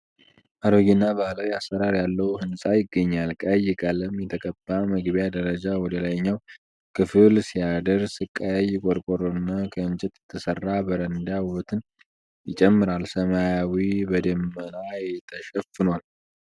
አሮጌና ባህላዊ አሰራር ያለው ሕንፃ ይገኛል። ቀይ ቀለም የተቀባ መግቢያ ደረጃ ወደ ላይኛው ክፍል ሲያደርስ፣ ቀይ ቆርቆሮና ከእንጨት የተሰራ በረንዳ ውበትን ይጨምራል። ሰማዩ በደመና ተሸፍኗል።